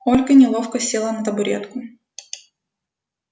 ольга неловко села на табуретку